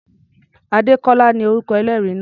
Adékọ́lá ni orúkọ ẹlẹ́rìí náà.